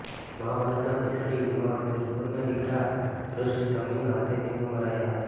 મહાભારતના ભીષણ યુદ્ધમાં દ્રુપદના દીકરા ધૃષ્ટદ્યુમ્નના હાથે તેઓ મરાયા હતા